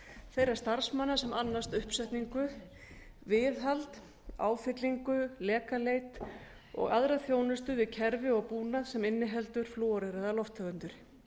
þeirra starfsmanna sem annast uppsetningu viðhald áfyllingu lekaleit og aðra þjónustu við kerfi og búnað sem inniheldur flúoreraðar lofttegundir